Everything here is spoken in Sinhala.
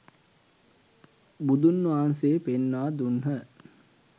බුදුන් වහන්සේ පෙන්වා දුන්හ.